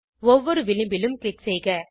ஒவ்வொரு விளிம்பிலும் க்ளிக் செய்க